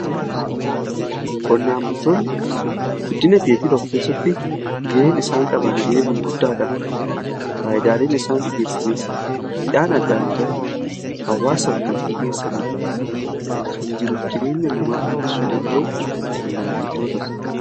Qonnaan bultoonni guddina tokko keessatti ga'een isaan qaban ga'ee gurguddaadha. Faayidaaleen isaan dhiiyeessaniis midhaan adda addaa hawwaasaf kan dhiiyeessanii fi kan jiruuf jireenya namaa fooyyessuu danda'u qonnaan bultoota.